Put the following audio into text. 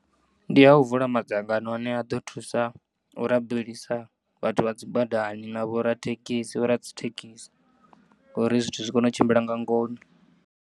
Ndi ya u vula madzangano ane aḓo thusa u rabelisa vhathu vhadzi badani na vho rathekisi vho radzithekisi, uri zwithu zwikono tshimbila nga ngona.